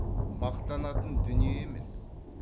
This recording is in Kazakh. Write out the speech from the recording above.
мақтанатын дүние емес